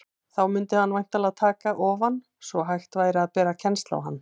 Þá mundi hann væntanlega taka ofan, svo hægt væri að bera kennsl á hann.